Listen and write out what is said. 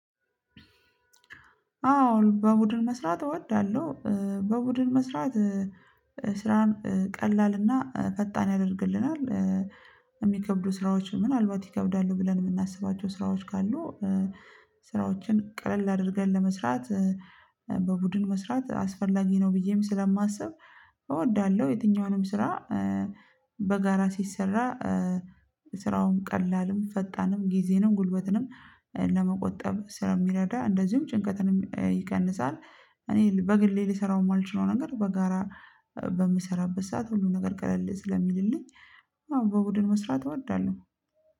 አዎ በቡድን መስራት እወዳለሁ በቡድን መስራት ስራን ቀላልና ፈጣን ያደርግልናል። የሚከብዱ ስራዎች ምናልባት ይከብዳሉ ብለን የምናስባቸው ስራዎች ካሉ። ስራዎችን ቀላል አድርገን ለመስራት። በቡድን መስራት አስፈላጊ ነው ቢዬም ስላማስብ። እወዳለሁ የትኛውንም ስራ። በጋራ ሲሰራ ስራውን ቀላልም ፈጣንም ጊዜንም ጉልበትንም ለመቆጠብ ስለሚረዳ እንደዚሁም ጭንቀትንም ይቀንሳል። እኔ በግሌ ልሰራው የማልችለው ነገር በጋራ በምሰራበት ሰዓት ሁሉ ነገር ቀለል ስለሚልልኝ። አዎ በቡድን መስራት እወዳለሁ